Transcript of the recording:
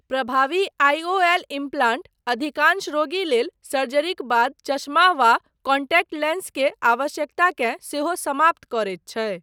प्रभावी IOL implant अधिकांश रोगी लेल सर्जरीक बाद चश्मा वा कॉन्टैक्ट लेंस के आवश्यकताकेँ सेहो समाप्त करैत छै।